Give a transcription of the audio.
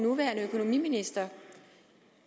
venstre